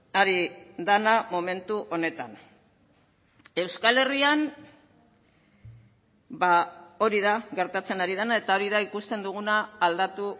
ari dena momentu honetan euskal herrian hori da gertatzen ari dena eta hori da ikusten duguna aldatu